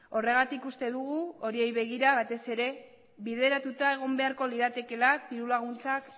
horregatik uste dugu horiei begira batez ere bideratuta egon beharko liratekeela diru laguntzak